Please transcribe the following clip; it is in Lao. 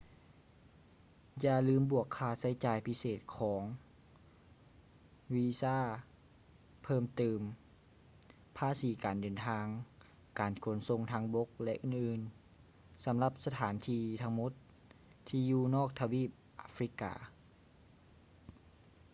ຢ່າລືມບວກຄ່າໃຊ້ຈ່າຍພິເສດຂອງ ວີຊ່າເພີ່ມຕື່ມ ພາສີການເດີນທາງ ການຂົນສົ່ງທາງບົກ ແລະ ອື່ນໆ ສຳລັບສະຖານທີ່ທັງໝົດທີ່ຢູ່ນອກທະວີບອາຟຼິກກາ